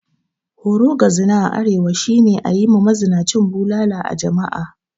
Horo ga zina a arewa shi ne ayi ma mazinan bulala a jama'a.